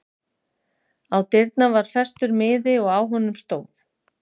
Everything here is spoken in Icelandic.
Á dyrnar var festur miði og á honum stóð